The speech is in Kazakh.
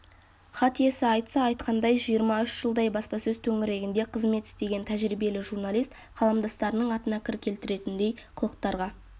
хат иесі айтса айтқандай жиырма үш жылдай баспасөз төңірегінде қызмет істеген тәжірибелі журналист қаламдастарының атына кір келтіретіндей қылықтарға